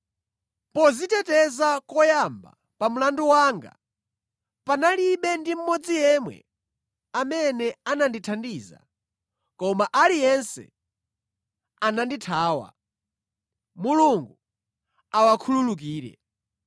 Podziteteza koyamba pa mlandu wanga, panalibe ndi mmodzi yemwe amene anandithandiza, koma aliyense anandithawa. Mulungu awakhululukire.